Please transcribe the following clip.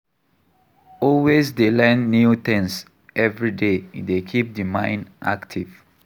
Always dey learn new things everyday e dey keep di mind active